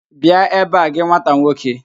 Bịa ebe a gị nwata nwoke!